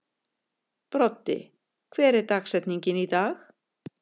Broddi, hver er dagsetningin í dag?